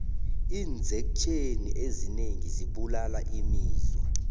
iinzektjheni ezinengi zibulala imizwa